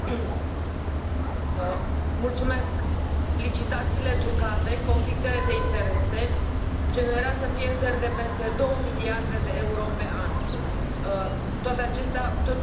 Doamnă președintă, licitațiile trucate, conflictele de interese generează pierderi de peste două miliarde de euro pe an.